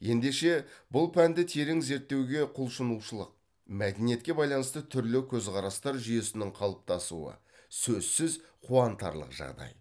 ендеше бұл пәнді терең зерттеуге құлшынушылық мәдениетке байланысты түрлі көзқарастар жүйесінің қалыптасуы сөзсіз қуантарлық жағдай